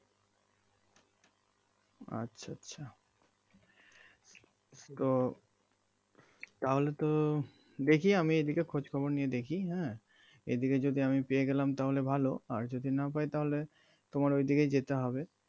আচ্ছা আচ্ছা তো তাহলে তো দেখি আমি এদিকে খোঁজ খবর নিয়ে দেখি হ্যাঁ এই দিকে যদি আমি পেয়ে গেলাম তাহলে ভালো আর যদি না পাই তাহলে তোমার ওইদিকে যেতে হবে